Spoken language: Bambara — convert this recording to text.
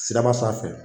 Siraba sanfɛ